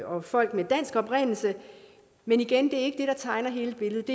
og folk med dansk oprindelse men igen det er der tegner hele billedet